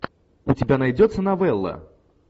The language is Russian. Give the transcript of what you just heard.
у тебя найдется новелла